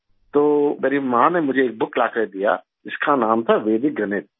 تو میری ماں نے مجھے ایک بُک لاکر دیا جس کا نام تھا ویدک گنت